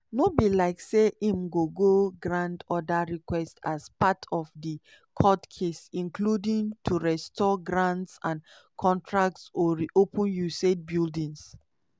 no be like say im go go grant oda requests as part of di court case including to restore grants and contracts or reopen usaid buildings.